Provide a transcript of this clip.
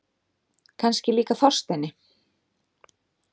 Kannski líka Þorsteini.